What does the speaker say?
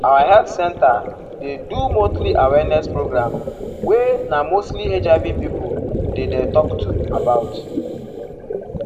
our health center dey do monthly awareness program wey na mostly hiv dem dey talk dey talk about.